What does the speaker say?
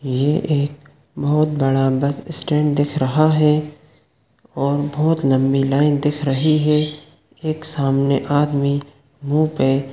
ये एक बहुत बड़ा बस स्टैंड दिख रहा है और बहुत लम्बी लाइन दिख रही है एक सामने आदमी मुंह पे --